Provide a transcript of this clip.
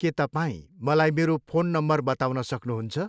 के तपाईँ मलाई मेरो फोन नम्बर बताउन सक्नुहुन्छ?